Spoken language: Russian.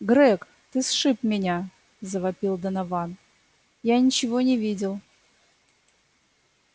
грег ты сшиб меня завопил донован я ничего не видел